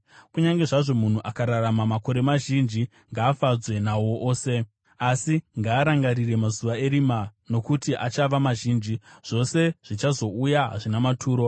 Kunyange zvazvo munhu akararama makore mazhinji, ngaafadzwe nawo ose. Asi ngaarangarire mazuva erima, nokuti achava mazhinji. Zvose zvichazouya hazvina maturo.